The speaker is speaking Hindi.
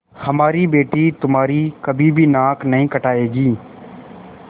हमारी बेटी तुम्हारी कभी भी नाक नहीं कटायेगी